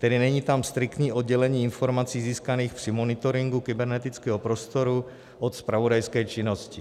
Tedy není tam striktní oddělení informací získaných při monitoringu kybernetického prostoru od zpravodajské činnosti.